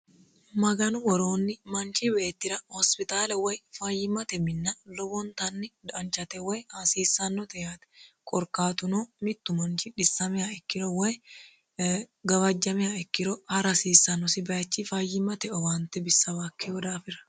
maganu woroonni manchi beetira hosipitaale lowo geeshsha danchate woy hasiissannote yaate korkaatuno mittu manchi xissamiha ikkiro woy e gawajjamiha ikkiro ara hasiissannosi bayichi wayyimate owaantewa mareeti